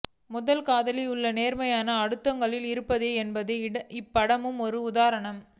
முதல் காதலில் உள்ள நேர்மை அடுத்ததுகளில் இருப்பதில்லை என்பதற்கு இப்படமும் ஒரு உதாரணம்